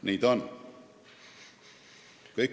Nii ta on.